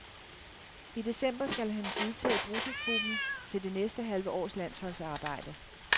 I december skal han udtage bruttotruppen til det næste halve års landsholdsarbejde.